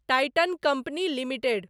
Titan company limited